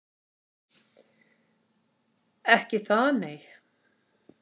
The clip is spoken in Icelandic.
Ekki það nei.